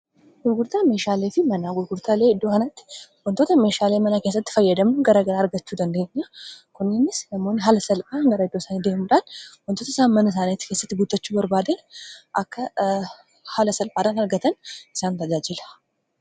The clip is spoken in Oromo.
gurgurtaa meeshaalee fi manaa gurgurtaalee iddoo kanatti wantoota meeshaalee manaa keessatti fayyadamnu garagaraa argachuu dandeenya kunninis nammoonni haala salphaan gara iddoo saaniidemudhaan wantoota isaan mana isaaniiti keessatti guutachuu barbaadan akka haala salphaadhan argatan isaan tajaajila